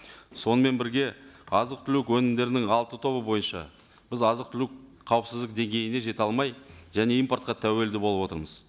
сонымен бірге азық түлік өнімдерінің алты тобы бойынша біз азық түлік қауіпсіздік деңгейіне жете алмай және импортқа тәуелді болып отырмыз